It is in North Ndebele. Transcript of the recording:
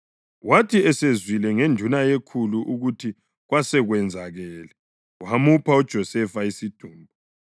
Wathi esezwile ngenduna yekhulu ukuthi kwasekwenzakele, wamupha uJosefa isidumbu.